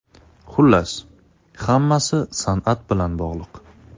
Xullas, hammasi san’at bilan bog‘liq.